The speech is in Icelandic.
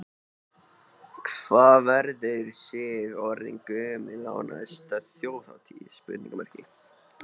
Hvað verður Sif orðin gömul á næstu Þjóðhátíð?